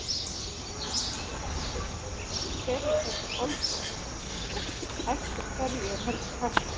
Hersir, hver eru þessi Olnbogabörn og eftir hverju er helst kallað?